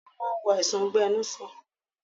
Kùnu máa ń wo àìsàn ọgbẹ-inú sàn.